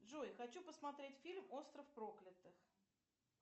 джой хочу посмотреть фильм остров проклятых